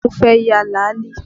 Mo fẹ́ ya làálì